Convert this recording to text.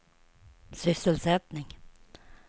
sysselsättning